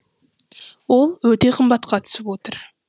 ол өте қымбатқа түсіп отыр